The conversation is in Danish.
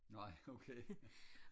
nej okay